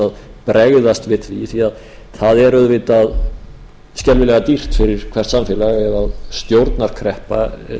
að bregðast við því það er auðvitað skelfilega dýrt fyrir hvert samfélag ef stjórnarkreppa